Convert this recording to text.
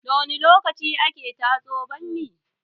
Da wani lokaci ake tatso bammi?